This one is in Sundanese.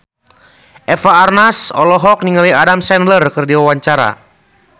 Eva Arnaz olohok ningali Adam Sandler keur diwawancara